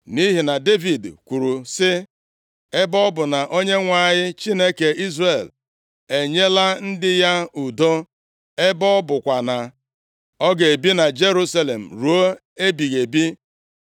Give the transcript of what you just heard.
Nʼihi na Devid kwuru sị, “Ebe ọ bụ na Onyenwe anyị, Chineke Izrel enyela ndị ya udo, ebe ọ bụkwa na ọ ga-ebi na Jerusalem ruo ebighị ebi.